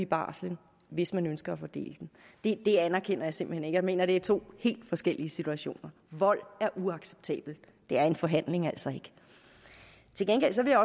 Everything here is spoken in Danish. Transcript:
barslen hvis man ønsker at fordele den det anerkender jeg simpelt hen ikke jeg mener at det er to helt forskellige situationer vold er uacceptabelt det er en forhandling altså ikke til gengæld vil